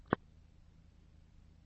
лучшая серия блоссом